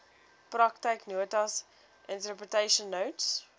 praktyknotas interpretation notes